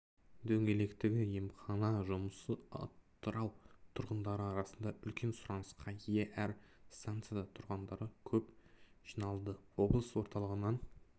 дөңгелектегі емхана жұмысы атырау тұрғындары арасында үлкен сұранысқа ие әр станцияда тұрғындар көп жиналды облыс орталығынан